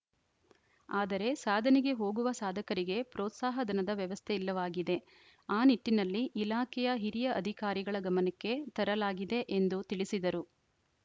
ಆದರೆ ಸಾಧನೆಗೆ ಹೋಗುವ ಸಾಧಕರಿಗೆ ಪ್ರೋತ್ಸಾಹಧನದ ವ್ಯವಸ್ಥೆ ಇಲ್ಲವಾಗಿದೆ ಆ ನಿಟ್ಟಿನಲ್ಲಿ ಇಲಾಖೆಯ ಹಿರಿಯ ಅಧಿಕಾರಿಗಳ ಗಮನಕ್ಕೆ ತರಲಾಗಿದೆ ಎಂದು ತಿಳಿಸಿದರು